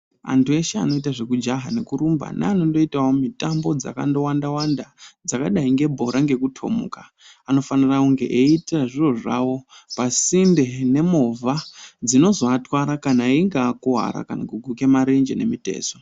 Anthu eshe anoita zvekujaha nekurumba neanondoitawo mitambo dzakandowanda-wanda, dzakadai ngebhora ngekuthomuka. Anofanira kunge eita zviro zvavo pasinde nemovha dzinozoatwara kana einga akuwara kana kuguke marenje nemitezo.